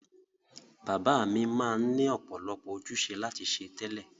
Bàbá mi ma n ni ọ̀pọ̀lọpọ̀ ojúse láti se tẹ́lẹ̀